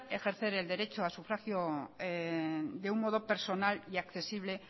ejercer el derecho a sufragio de un modo personal y accesible